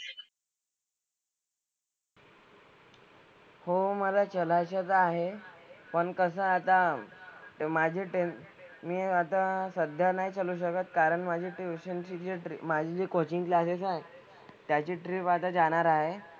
हो मला चलायचं तर आहे. पण कसं आहे आता माझे टेन मी आता सध्या नाही चलू शकत कारण माझी ट्युशन ची जी माझी जी कोचिंग क्लासेसआहेत त्याची ट्रिप आता जाणार आहे.